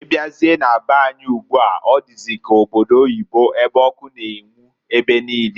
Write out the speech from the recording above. Ị bịazie na be anyị ugbua ọ dịzị ka obodo oyibo ebe ọkụ na-enwu ebe niine.